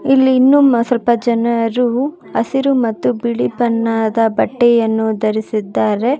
ಇಲ್ಲಿ ಇನ್ನು ಸ್ವಲ್ಪ ಜನರು ಹಸಿರು ಮತ್ತು ಬಿಳಿ ಬಣ್ಣದ ಬಟ್ಟೆಯನ್ನು ಧರಿಸಿದ್ದಾರೆ.